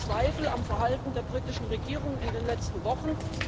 Wir haben Zweifel am Verhalten der britischen Regierung in den letzten Wochen.